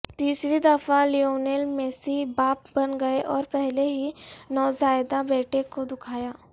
تیسری دفعہ Lionel Messi باپ بن گئے اور پہلے ہی نوزائیدہ بیٹے کو دکھایا